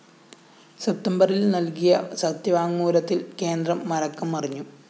സപ്തംബറില്‍ നല്‍കിയ സത്യവാങ്മൂലത്തില്‍ കേന്ദ്രം മലക്കം മറിഞ്ഞു